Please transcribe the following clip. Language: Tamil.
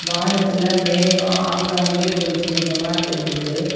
வானத்துல மேகோ ஆங்காங்கே கொஞ்ச கொஞ்சமா தெரியுது.